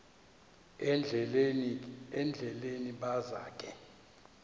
endleleni baza ke